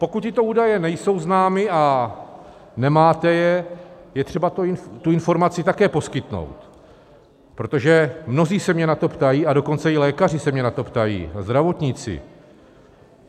Pokud tyto údaje nejsou známy a nemáte je, je třeba tuto informaci také poskytnout, protože mnozí se mě na to ptají, a dokonce i lékaři se mě na to ptají, zdravotníci.